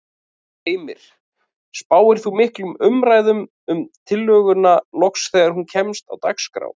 Heimir: Spáir þú miklum umræðum um tillöguna loks þegar hún kemst á dagskrá?